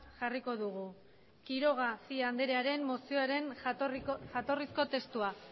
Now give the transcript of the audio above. jarriko dugu quiroga cia andrearen mozioaren jatorrizko testua